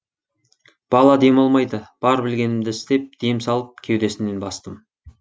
бала демалмайды бар білгенімді істеп дем салып кеудесінен бастым